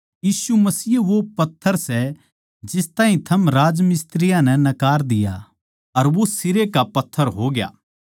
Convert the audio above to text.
यीशु मसीह ए वो पत्थर सै जिस ताहीं थम राजमिस्त्रियाँ नै नकार दिया अर वो सिरै का पत्थर होग्या